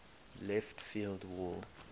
left field wall